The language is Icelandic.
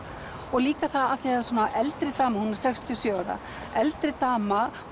og líka af því það er svona eldri dama hún er sextíu og sjö ára eldri dama